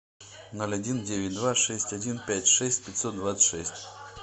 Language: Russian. ноль один девять два шесть один пять шесть пятьсот двадцать шесть